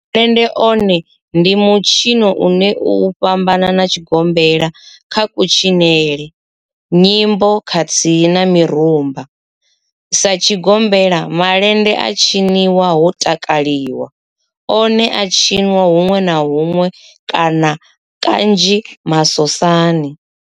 Malende one ndi mitshino une u a fhambana na tshigombela kha kutshinele, nyimbo khathihi na mirumba, Sa tshigombela, malende a tshinwa ho takalwa, one a a tshiniwa hunwe na hunwe kana kanzhi masosani.